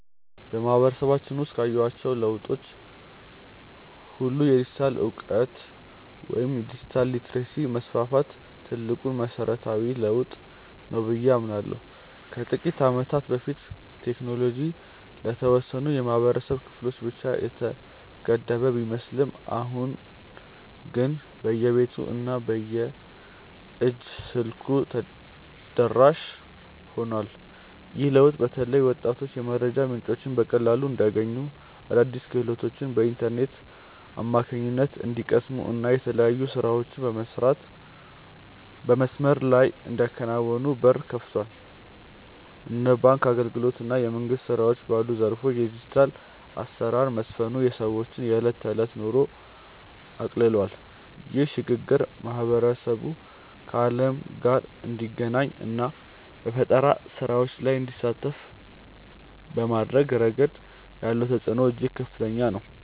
በማህበረሰባችን ውስጥ ካየኋቸው ለውጦች ሁሉ የዲጂታል እውቀት ወይም ዲጂታል ሊተረሲ መስፋፋት ትልቁና መሰረታዊው ለውጥ ነው ብዬ አምናለሁ። ከጥቂት ዓመታት በፊት ቴክኖሎጂ ለተወሰኑ የህብረተሰብ ክፍሎች ብቻ የተገደበ ቢመስልም አሁን ግን በየቤቱ እና በየእጅ ስልኩ ተደራሽ ሆኗል። ይህ ለውጥ በተለይ ወጣቶች የመረጃ ምንጮችን በቀላሉ እንዲያገኙ፣ አዳዲስ ክህሎቶችን በኢንተርኔት አማካኝነት እንዲቀስሙ እና የተለያዩ ስራዎችን በመስመር ላይ እንዲያከናውኑ በር ከፍቷል። እንደ ባንክ አገልግሎት እና የመንግስት ስራዎች ባሉ ዘርፎች የዲጂታል አሰራር መስፈኑ የሰዎችን የዕለት ተዕለት ኑሮ አቅልሏል። ይህ ሽግግር ማህበረሰቡ ከዓለም ጋር እንዲገናኝ እና በፈጠራ ስራዎች ላይ እንዲሳተፍ በማድረግ ረገድ ያለው ተጽዕኖ እጅግ ከፍተኛ ነው።